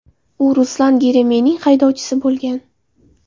U Ruslan Geremeyevning haydovchisi bo‘lgan.